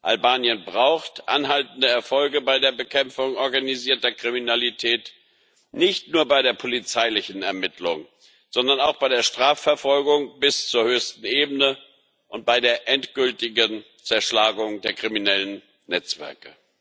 Albanien braucht anhaltende Erfolge bei der Bekämpfung organisierter Kriminalität, nicht nur bei der polizeilichen Ermittlung, sondern auch bei der Strafverfolgung bis zur höchsten Ebene und bei der endgültigen Zerschlagung der kriminellen Netzwerke.